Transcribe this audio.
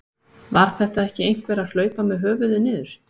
Var þetta ekki einhver að hlaupa með höfuðið niður?